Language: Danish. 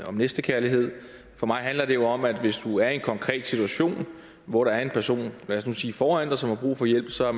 om næstekærlighed for mig handler det jo om at hvis du er i en konkret situation hvor der er en person lad os sige foran dig som har brug for hjælp så er